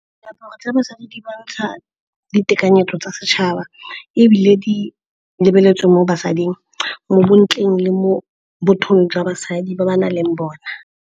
Diaparo tsa basadi di bontsha ditekanyetso tsa setšhaba ebile di lebeletswe mo basading, mo bontleng le mo bothong jwa basadi ba ba nang le bona.